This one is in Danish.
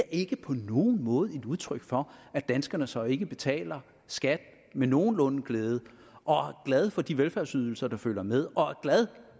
ikke på nogen måde et udtryk for at danskerne så ikke betaler skat med nogenlunde glæde og er glade for de velfærdsydelser der følger med og er glade